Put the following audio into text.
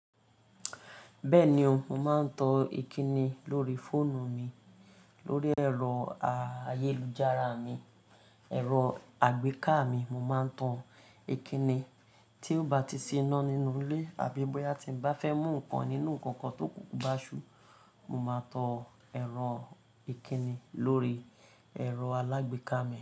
Bẹ́ẹ̀ni o, mo máa ń tan Ìkíni lórí fóònù mi, lórí ẹ̀rọ ayélujára mi, ẹ̀rọ àgbéká mi, mo máa ń tan Ìkíni. Tí ó bá ti sí iná nínú ilé àbí bóyá tí n bá fẹ́ mú nǹkan nínú nnkan kan tó kunkun bá ṣú, mo máa tọ ẹ̀rọ Ìkíni lórí ẹ̀rọ alágbéká mi.